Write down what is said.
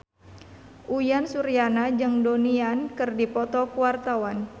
Uyan Suryana jeung Donnie Yan keur dipoto ku wartawan